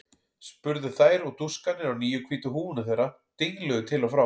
spurðu þær og dúskarnir á nýju hvítu húfunum þeirra dingluðu til og frá.